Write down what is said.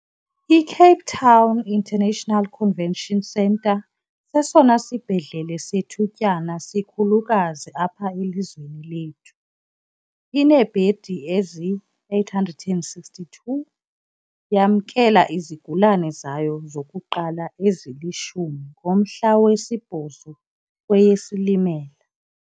I-Cape Town International Convention Centre, sesona sibhedlele sethutyana sikhulukazi apha elizweni lethu, ineebhedi eziyi-862. Yamkela izigulane zayo zokuqala ezili-10 ngomhla we-8 kweyeSilimela.